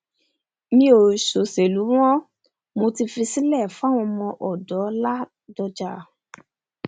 mi ò soselù mọ́ mo ti fi sílẹ̀ fáwọn ọdọ ládọjà